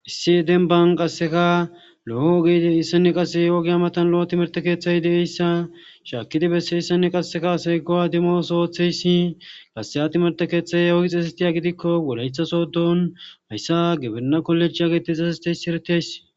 issi denban qasseka lo7ogeide issane qase ogea matan lo7a timerte keeththey de7eyssa shaakidi besse issane qasseka asay gowa demosootheyssi qasseyhatimerte keeththay ogi xeesestiya gidikko wolaythasoodon hayssa gibena kolejh ageti xesesteysi eretihays